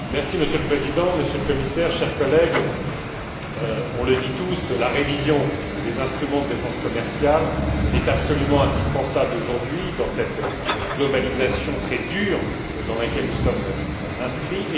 Monsieur le Président, Monsieur le Commissaire, chers collègues, nous le disons tous, la révision des instruments de défense commerciale est absolument indispensable aujourd'hui dans cette mondialisation très dure, dans laquelle nous sommes inscrits.